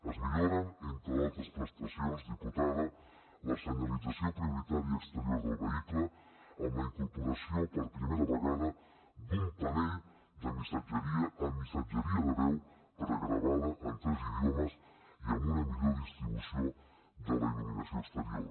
es milloren entre d’altres prestacions diputada la senyalització prioritària exterior del vehicle amb la incorporació per primera vegada d’un panell de missatgeria amb missatgeria de veu pregravada en tres idiomes i amb una millor distribució de la il·luminació exterior